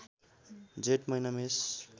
जेठ महिना मेष